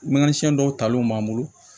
Mana siɲɛ dɔw talenw b'an bolo